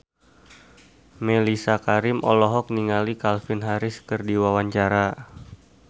Mellisa Karim olohok ningali Calvin Harris keur diwawancara